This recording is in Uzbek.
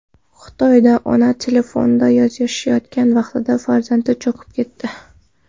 Xitoyda ona telefonda yozishayotgan vaqtda farzandi cho‘kib ketdi .